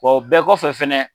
Wa o bɛɛ kɔ fɛ fɛnɛ